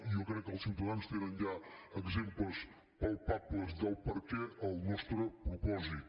jo crec que els ciutadans tenen ja exemples palpables del perquè del nostre propòsit